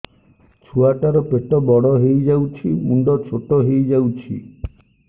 ଛୁଆ ଟା ର ପେଟ ବଡ ହେଇଯାଉଛି ମୁଣ୍ଡ ଛୋଟ ହେଇଯାଉଛି